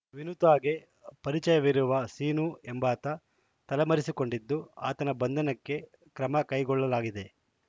ವಿನುತಾಗೆ ಪರಿಚಯವಿರುವ ಸೀನು ಎಂಬಾತ ತಲೆಮರೆಸಿಕೊಂಡಿದ್ದು ಆತನ ಬಂಧನಕ್ಕೆ ಕ್ರಮಕೈಗೊಳ್ಳಲಾಗಿದೆ